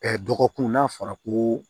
dɔgɔkun n'a fɔra ko